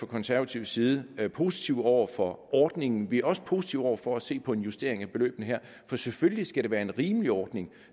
konservatives side positive over for ordningen vi er også positive over for at se på en justering af beløbene her for selvfølgelig skal det være en rimelig ordning